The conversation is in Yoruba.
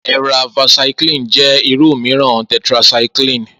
Eravacycline jẹ́ irú mìíràn tetracycline